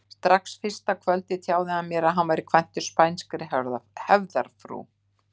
Strax fyrsta kvöldið tjáði hann mér að hann væri kvæntur spænskri hefðarfrú.